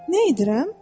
Nə edirəm?